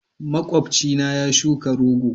Makwabcina ya shuka rogo.